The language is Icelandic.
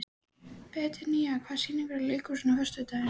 Betanía, hvaða sýningar eru í leikhúsinu á föstudaginn?